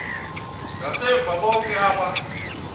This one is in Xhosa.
ngasemva bonke aba